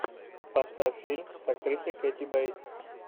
поставь фильм с актрисой кети бейтс